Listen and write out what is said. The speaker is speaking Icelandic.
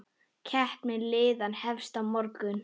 Keppni liðanna hefst á morgun.